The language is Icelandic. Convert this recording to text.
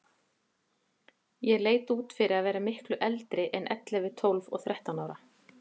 Ég leit út fyrir að vera miklu eldri en ellefu, tólf og þrettán ára.